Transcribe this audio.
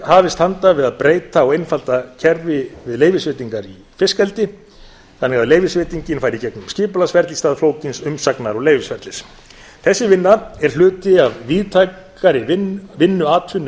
hafist handa við að breyta og einfalda kerfi við leyfisveitingar í fiskeldi þannig að leyfisveitingin fari í gegnum skipulagsferli í stað flókins umsagnar og leyfisferlis þessi vinna er hluti af víðtækari vinnu atvinnuvega og